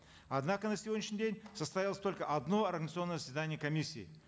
однако на сегодняшний деь состоялось только одно организационное заседание комиссии